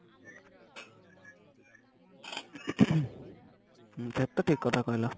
ହଁ ସେଇଟା ତ ଠିକ କଥା କହିଲ